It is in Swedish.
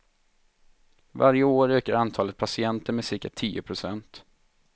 Varje år ökar antalet patienter med cirka tio procent.